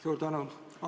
Suur tänu!